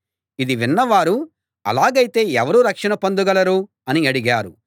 ఇది విన్న వారు అలాగైతే ఎవరు రక్షణ పొందగలరు అని అడిగారు